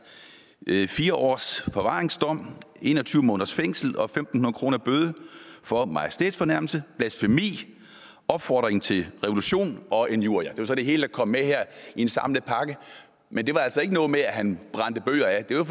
fik fire års forvaringsdom en og tyve måneders fængsel og fem hundrede kroner i bøde for majestætsfornærmelse blasfemi opfordring til revolution og injurier det var så det hele der kom med her i en samlet pakke men det var altså ikke noget med at han brændte bøger af det var